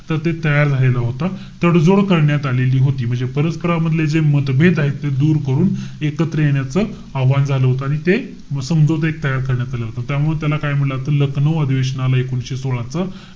तर ते तयार झालेला होता. तडजोड करण्यात आलेली होती. म्हणजे परस्परांमधले जे मतभेद आहेत. ते दूर करून एकत्र येण्याचं आव्हाहन झालं होतं. आणि ते समझोता एक तयार करण्यात आला होता. त्यामुळे त्याला काय म्हंटल जातं? लखनऊ अधिवेशनाला, एकोणीशे सोळा च,